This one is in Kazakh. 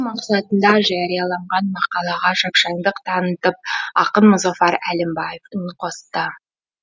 мақсатында жарияланған мақалаға шапшаңдық танытып ақын мұзафар әлімбаев үн қосты